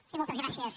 sí moltes gràcies